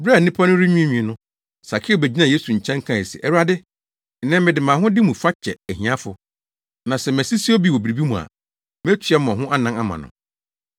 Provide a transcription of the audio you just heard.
Bere a nnipa no renwiinwii no, Sakeo begyinaa Yesu nkyɛn kae se, “Awurade, nnɛ, mede mʼahode mu fa kyɛ ahiafo, na sɛ masisi obi wɔ biribi mu a, metua mmɔho anan ama no.”